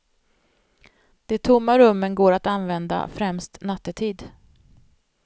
De tomma rummen går att använda, främst nattetid.